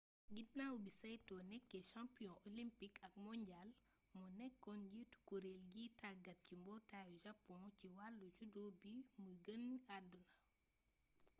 ginaaw bi saito nekkee champion olympique ak mondial moo nekkoon njiitu kuréel giy tàggat ci mbootaayu japon ci wàllu judo bi muy génn àdduna